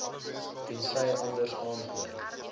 tensy anders aangedui